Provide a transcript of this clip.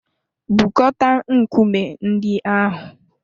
Bukọta nkume ndị ahụ!